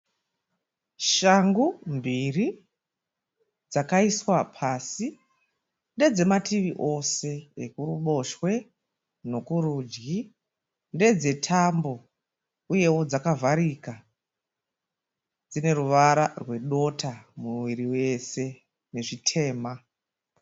Shangu mbiri dzakaiswa pasi. Ndedzemativi ose, ekuruboshwe nekurudyi. Ndedzetambo uyewo dzakavharika dzine ruvara rwedota muviri wose nezvitema.